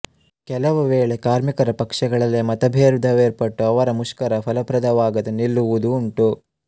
ಕೆಲವು ವೇಳೆ ಕಾರ್ಮಿಕರ ಪಕ್ಷಗಳಲ್ಲೆ ಮತಭೇದವೇರ್ಪಟ್ಟು ಅವರ ಮುಷ್ಕರ ಫಲಪ್ರದವಾಗದೆ ನಿಲ್ಲುವುದೂ ಉಂಟು